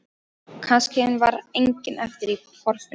Kannski var enginn eftir í þorpinu.